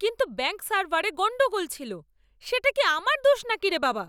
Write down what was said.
কিন্তু ব্যাঙ্ক সার্ভারে গণ্ডগোল ছিল। সেটা কি আমার দোষ নাকি রে বাবা!